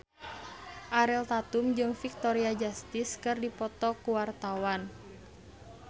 Ariel Tatum jeung Victoria Justice keur dipoto ku wartawan